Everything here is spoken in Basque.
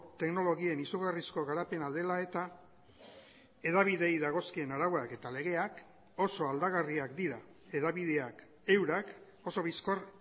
teknologien izugarrizko garapena dela eta hedabideei dagozkien arauak eta legeak oso aldagarriak dira hedabideak eurak oso bizkor